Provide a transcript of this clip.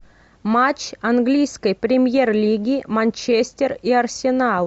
матч английской премьер лиги манчестер и арсенал